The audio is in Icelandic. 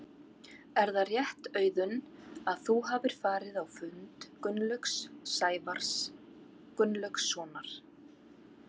Er það rétt Auðun að þú hafir farið á fund Gunnlaugs Sævars Gunnlaugssonar?